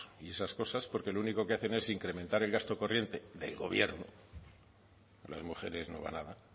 y esas cosas porque lo único que hacen es incrementar el gasto corriente del gobierno a las mujeres no va nada